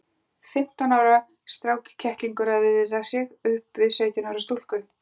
Fimmtán ára strákkettlingur að viðra sig upp við sautján ára stúlku!